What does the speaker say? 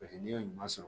Paseke n'i ye ɲuman sɔrɔ